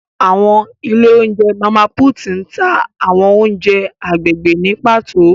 Awọn ile ounjẹ Mama Puutu ǹ ta awọn ounjẹ agbegbe ni pato.